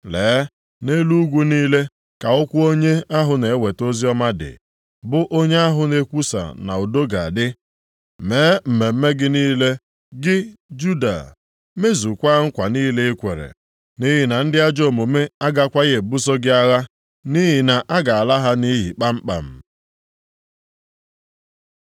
Lee, nʼelu ugwu niile ka ụkwụ onye ahụ na-eweta oziọma dị, bụ onye ahụ na-ekwusa na udo ga-adị! Mee mmemme gị niile gị Juda, mezukwaa nkwa niile i kwere. Nʼihi na ndị ajọ omume agakwaghị ebuso gị agha, nʼihi na a ga-ala ha nʼiyi kpamkpam.